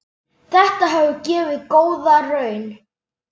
Þetta hefur gefið góða raun.